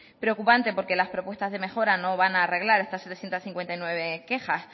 preocupante porque las propuestas de mejora no van a arreglar setecientos cincuenta y nueve quejas